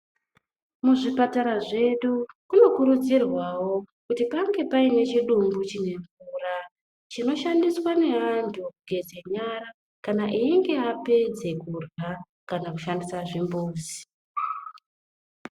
Muzvipatara zvedu kunokurudzirwawo kuti pange paine chidumbu chine mvura chinoshandiswa ngevantu kugeze nyara kana einge apedze kurya kana kushandisa zvimbuzi.